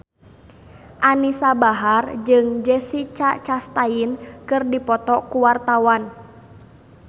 Anisa Bahar jeung Jessica Chastain keur dipoto ku wartawan